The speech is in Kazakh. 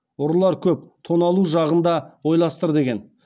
ұрылар көп тоналу жағын да ойластыр деген